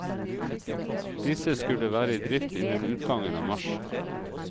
Disse skulle være i drift innen utgangen av mars.